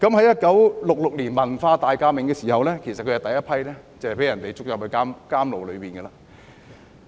1966年文化大革命時，他是第一批被抓進監牢的。